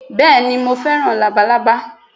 Béèni Mo fẹ́ràn Labalábá